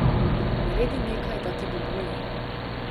Naredi nekaj, da ti bo bolje.